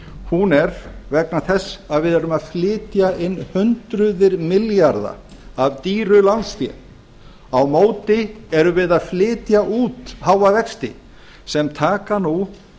hún er vegna þess að við erum að flytja inn hundruð milljarða af dýru lánsfé á móti erum við að flytja út háa vexti sem taka nú